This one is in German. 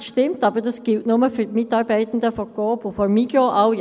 Das stimmt, aber dies gilt nur für die Mitarbeitenden von Coop und Migros;